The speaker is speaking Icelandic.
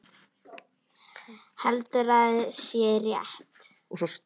Heldur að sé rétt.